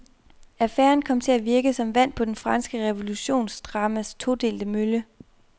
Affæren kom til at virke som vand på det franske revolutionsdramas todelte mølle.